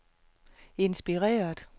inspireret